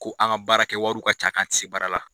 Ko an ka baara kɛ wariw ka ca, k'an ti se baara la.